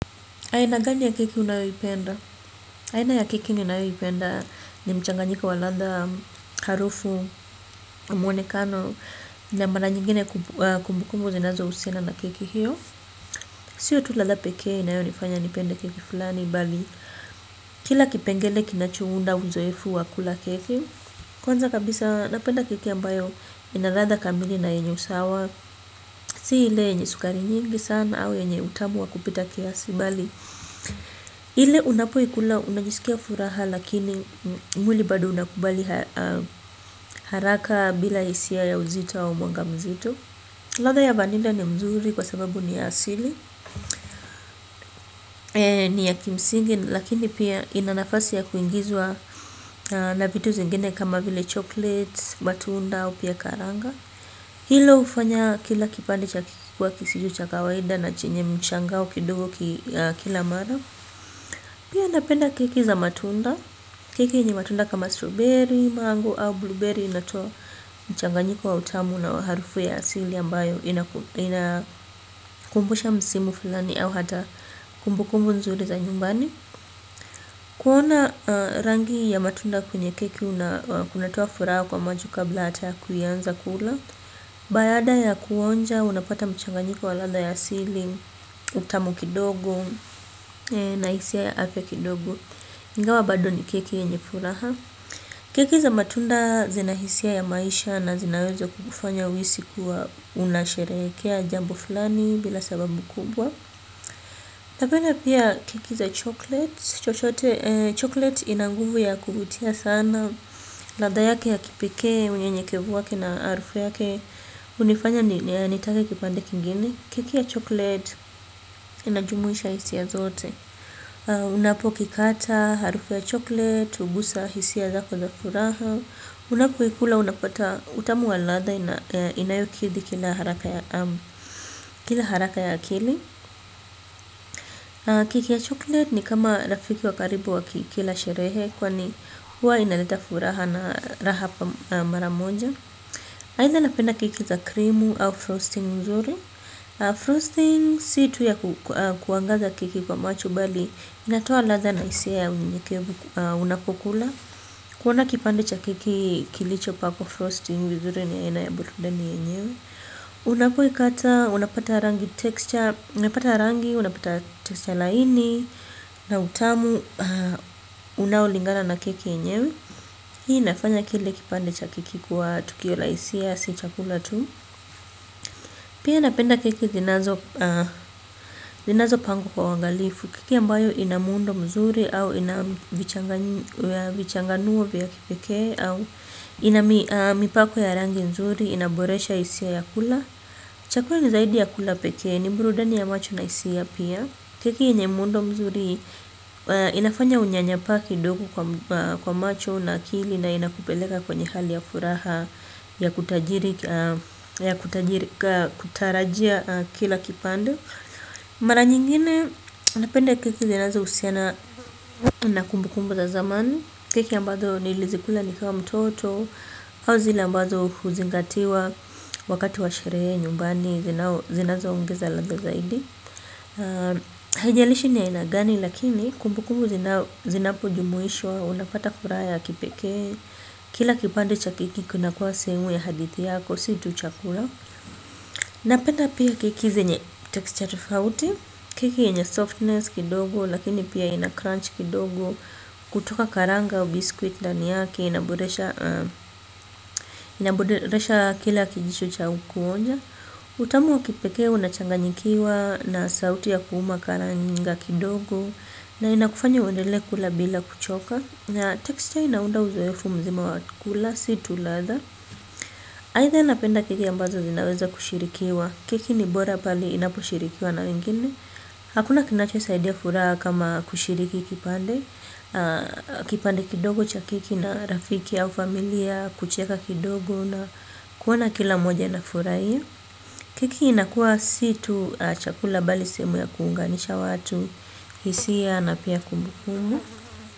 Aina gani ya keki unayoipenda? Aina ya keki ninayoipenda ni mchanganyika wa ladha harufu mwonekano na mara nyingine kumbukumbu zinazo husiana na kiki hiyo. Sio tu ladha pekee inayonifanya nipende keki flani bali. Kila kipengele kinachounda uzoefu wa kula keki. Kwanza kabisa napenda keki ambayo ina ladha kamili na yenye usawa si ile yenye sukari nyingi sana au yenye utamu wa kupita kiasi bali ile unapoikula unajisikia furaha lakini mwili bado unakubali haraka bila hisia ya uzito wa mwanga mzito. Ladha ya vanila ni mzuri kwasababu ni ya asili. Ni ya kimsingi lakini pia inanafasi ya kuingizwa na vitu zingine kama vile chocolate, matunda au pia karanga. Hilo hufanya kila kipande cha keki kuwa kisicho cha kawaida na chenye mshangao kidogo kila mara pia napenda keki za matunda keki yenye matunda kama strawberry mango ama blueberry inatoa mchanganyiko wa utamu na harufu ya asili ambayo inakumbusha msimu flani au hata kumbukumbu nzuri ya nyumbani. Kuona rangi ya matunda kwenye keki kunatua furaha kwa macho kabla hata ya kuanza kula. Baada ya kuonja, unapata mchanganyiko wa ladha ya asili. Utamu kidogo, nahisia ya afya kidogo. Ingawa bado ni keki yenye furaha keki za matunda zina hisia ya maisha na zinaweza kukufanya uhisi kuwa unasherehekea jambo fulani bila sababu kubwa. Napenda pia keki za chocolate Chocolate ina nguvu ya kuvutia sana. Ladha yake ya kipikee, unyenyekevu wake na harufu yake hunifanya nitake kipande kingini. Keki ya chocolate inajumuisha hisia zote. Unapokikata, harufu ya chocolate, hugusa, hisia zako za furaha. Unapoikula unapata utamu wa ladha inayokidhi kina haraka njia haraka ya akili krki ya chocolate ni kama rafiki wa karibu wa kila sherehe. Kwani huwa inaleta furaha na raha pa mara moja. Aidha napenda keki za krimu au frosting mzuri Frosting si tu ya kuangaza keki kwa macho bali inatoa ladha na hisia unapokula. Kuona kipande cha keki kilicho pakwa frosting vizuri ni aina ya burudani yenyewe. Unapoikata, unapata rangi texture. Unapata rangi, unapata texture laini. Na utamu, unaolingana na keki yenyewe. Hii inafanya kile kipande cha keki kuwa tukio la hisia si chakula tu. Pia napenda keki zinazo pangwa kwa uangalifu keki ambayo ina muundo nzuri ama ambayo vichanganio au ina mipako mizuri inaboresha hisia ya kula. Cha kweli ni zaidi ya kula peke ni burudani ya macho na hisia pia. Keki yenye muundo mzuri inafanya unyanyapaa kidogo kwa macho na akili na inakupeleka kwenye hali ya furaha ya kutarajia kila kipande. Mara nyingine, napenda keki zinazo husiana na kumbu kumbu za zamani. Keki ambazo nilizikula nikiwa mtoto au zile ambazo huzingatiwa wakati wa sherehe, nyumbani, zinazo ongeza ladha zaidi. Haijalishi ni ya aina gani, lakini kumbu kumbu zinapo jumuishwa unapata furaha ya, kipeke. Kila kipande cha keki, kuna kuwa sehemu ya hadithi yako, si tu chakula. Napenda pia keki zenye, texture tofauti. Keki yenye softness kidogo lakini pia ina crunch kidogo. Kutoka karanga au biskuiti ndani yake inaboresha kila kijicho cha kuonja. Utamu wakipekee unachanganyikiwa na sauti ya kuuma karanga kidogo. Na inakufanya undele kula bila kuchoka. Na texture inaunda uzoefu mzima wakula situ ladha. Aidha napenda keki ambazo zinaweza kushirikiwa. Keki ni bora pale inaposhirikiwa na wengine. Hakuna kinacho saidia furaha kama kushiriki kipande. Kipande kidogo cha keki na rafiki au familia kucheka kidogo na kuona kila mmoja anafurahia. Keki inakua si tu chakula bali sehemu ya kuunganisha watu. Hisia na pia kumbukumbu.